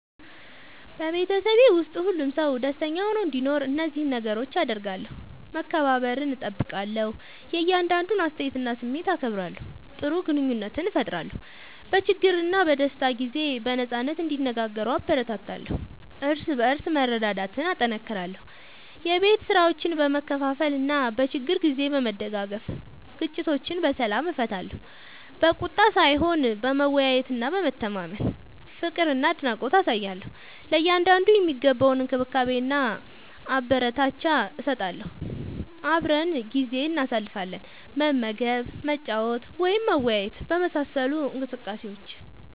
በቤተሰብ ውስጥ ሁሉም ሰው ደስተኛ ሆኖ እንዲኖር እነዚህን ነገሮች አደርጋለሁ፦ መከባበርን እጠብቃለሁ – የእያንዳንዱን አስተያየትና ስሜት አከብራለሁ። ጥሩ ግንኙነት እፈጥራለሁ – በችግርና በደስታ ጊዜ በነጻነት እንዲነጋገሩ እበረታታለሁ። እርስ በርስ መረዳዳትን እጠናክራለሁ – የቤት ስራዎችን በመካፈል እና በችግር ጊዜ በመደጋገፍ። ግጭቶችን በሰላም እፈታለሁ – በቁጣ ሳይሆን በመወያየትና በመተማመን። ፍቅርና አድናቆት አሳያለሁ – ለእያንዳንዱ የሚገባውን እንክብካቤና አበረታቻ እሰጣለሁ። አብረን ጊዜ እናሳልፋለን – መመገብ፣ መጫወት ወይም መወያየት በመሳሰሉ እንቅስቃሴዎች።